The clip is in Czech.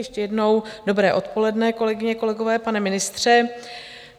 Ještě jednou dobré odpoledne, kolegyně, kolegové, pane ministře.